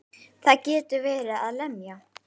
Það getur verið að lemja.